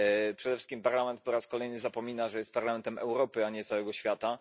Przede wszystkim Parlament po raz kolejny zapomina, że jest Parlamentem Europy, a nie całego świata.